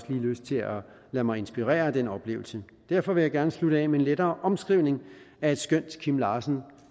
lige lyst til at lade mig inspirere af den oplevelse derfor vil jeg gerne slutte af med en lettere omskrivning af et skønt kim larsen